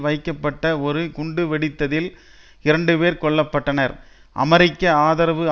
வைக்கப்பட்ட ஒரு குண்டு வெடித்ததில் இரண்டுபேர் கொல்ல பட்டனர் அமெரிக்க ஆதரவு